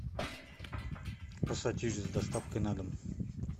пассатижи с доставкой на дом